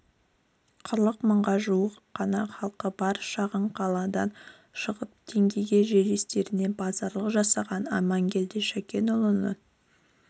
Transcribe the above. қырық мыңға жуық қана халқы бар шағын қаладан шығып теңгеге жерлестеріне базарлық жасаған амангелді шакенұлының